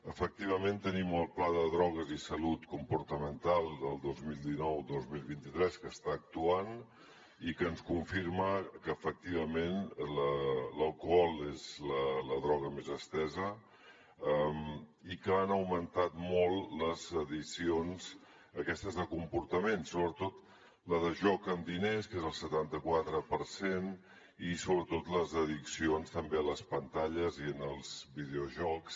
efectivament tenim el pla de drogues i addiccions comportamentals del dos mil dinou dos mil vint tres que està actuant i que ens confirma que efectivament l’alcohol és la droga més estesa i que han augmentat molt les addiccions aquestes de comportament sobretot la de joc amb diners que és el setanta quatre per cent i sobretot les addiccions també a les pantalles i als videojocs